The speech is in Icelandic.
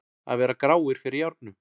Að vera gráir fyrir járnum